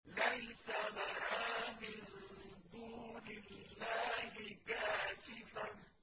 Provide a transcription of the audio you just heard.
لَيْسَ لَهَا مِن دُونِ اللَّهِ كَاشِفَةٌ